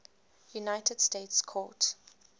united states court